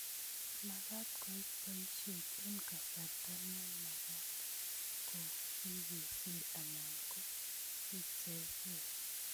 Magat koit boisiet eng kasarta ne. Magat ngo kikiser anan ko kiserkei